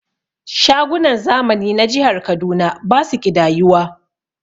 Shagunan zamani na jihar Kaduna basu ƙidayuwa